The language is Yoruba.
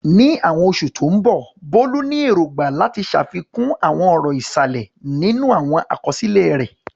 Ní àwọn oṣù tó ń bọ̀, Bolu ní èrògbà láti ṣàfikún àwọn ọ̀rọ̀ ìsàlẹ̀ nínú àwọn àkọsílẹ̀ rẹ̀.